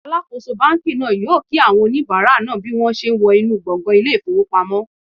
Alakoso banki naa yoo ki awon onibara naa bi won se wo inu gbongan ile ifowopamo